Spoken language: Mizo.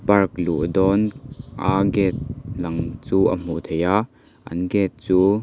park luh dawn a gate lang chu a hmuh theih a an gate chu--